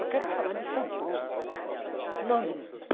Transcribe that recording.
Eu quero falar de São Paulo, não de mim.